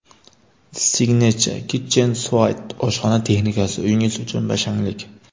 Signature Kitchen Suite oshxona texnikasi: uyingiz uchun «bashanglik».